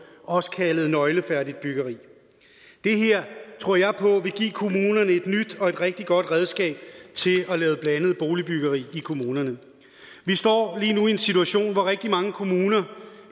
også kaldet nøglefærdigt byggeri det her tror jeg på vil give kommunerne et nyt og rigtig godt redskab til at lave blandet boligbyggeri i kommunerne vi står lige nu i en situation hvor rigtig mange kommuner